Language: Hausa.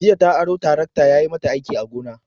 Jiya ta aro tarakta yayi mata aiki a gona.